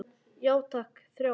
Já takk, þrjá.